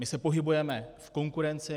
My se pohybujeme v konkurenci.